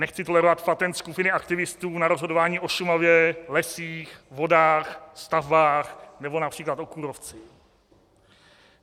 Nechci tolerovat patent skupiny aktivistů na rozhodování o Šumavě, lesích, vodách, stavbách nebo například o kůrovci.